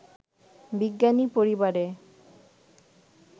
বিজ্ঞানী পরিবারে